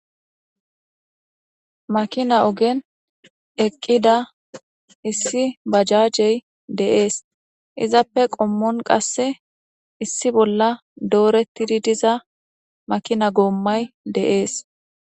Makina ogenni eqqidda issi bajajeyi de'ees.izappe qommon qase issi bolla doretidd diza makina gomayi de'ees.